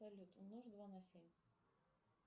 салют умножь два на семь